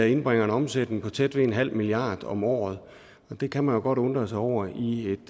indbringer en omsætning på tæt ved nul milliard kroner om året og det kan man jo godt undre sig over i et